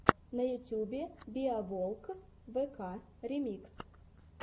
на ютубе биоволквк ремикс